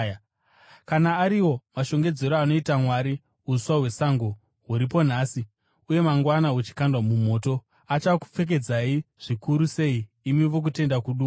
Kana ariwo mashongedzero anoita Mwari uswa hwesango, huripo nhasi, uye mangwana huchikandwa mumoto, achakupfekedzai zvikuru sei, imi vokutenda kuduku!